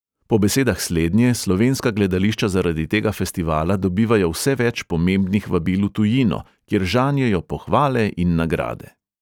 Po besedah slednje slovenska gledališča zaradi tega festivala dobivajo vse več pomembnih vabil v tujino, kjer žanjejo pohvale in nagrade.